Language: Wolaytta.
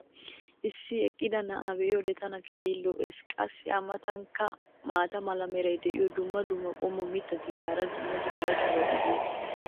issi eqqida na"aa be'iyoode tana keehi lo'ees. qassi a matankka maata mala meray diyo dumma dumma qommo mitattinne hara dumma dumma irxxabati de'oosona.